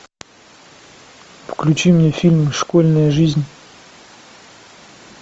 включи мне фильм школьная жизнь